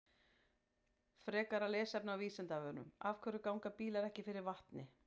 Frekara lesefni á Vísindavefnum: Af hverju ganga bílar ekki fyrir vatni?